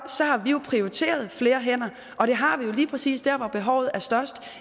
har vi prioriteret flere hænder og det har vi jo gjort lige præcis der hvor behovet er størst